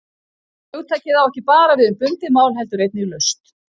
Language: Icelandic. Hugtakið á ekki bara við um bundið mál heldur einnig laust.